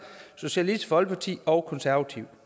socialistisk folkeparti og konservative